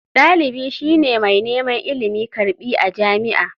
Dalibi shi ne mai neman ilimi/karbi a jami'a.